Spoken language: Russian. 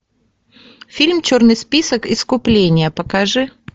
фильм черный список искупление покажи